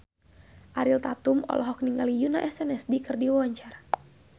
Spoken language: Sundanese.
Ariel Tatum olohok ningali Yoona SNSD keur diwawancara